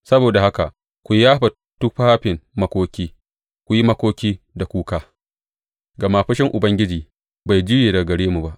Saboda haka ku yafa tufafin makoki, ku yi makoki da kuka, gama fushin Ubangiji bai juye daga gare mu ba.